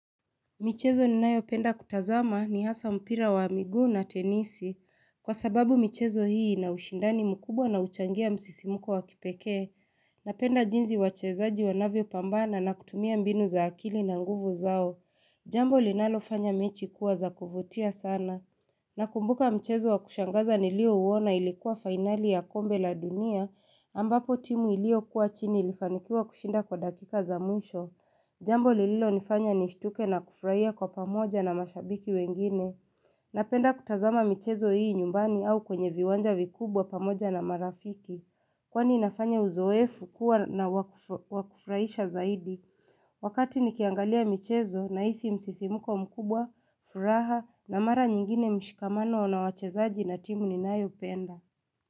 Michezo ninayopenda kutazama ni hasa mpira wa miguu na tenisi. Kwa sababu michezo hii ina ushindani mkubwa na uchangia msisimuko wa kipekee. Napenda jinsi wachezaji wanavyopambana na kutumia mbinu za akili na nguvu zao. Jambo linalofanya mechi kuwa za kuvutia sana. Nakumbuka michezo wa kushangaza nilio uona ilikuwa finali ya kombe la dunia. Ambapo timu ilio kuwa chini ilifanikiwa kushinda kwa dakika za mwisho. Jambo lililo nifanya nishtuke na kufurahia kwa pamoja na mashabiki wengine Napenda kutazama michezo hii nyumbani au kwenye viwanja vikubwa pamoja na marafiki Kwani inafanya uzoefu kuwa na wakufurahisha zaidi Wakati nikiangalia michezo na hisi msisimuko mkubwa, furaha na mara nyingine mshikamano unao wachezaji na timu ninae upenda.